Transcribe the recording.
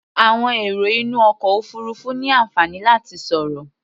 Àwọn èrò inú ọkọ̀ òfuurufú ní àǹfààní láti sọ̀rọ̀.